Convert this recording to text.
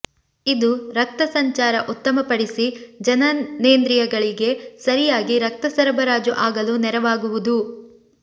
ಇದು ರಕ್ತ ಸಂಚಾರ ಉತ್ತಮಪಡಿಸಿ ಜನನೇಂದ್ರಿಯಗಳಿಗೆ ಸರಿಯಾಗಿ ರಕ್ತಸರಬರಾಜು ಆಗಲು ನೆರವಾಗುವುದು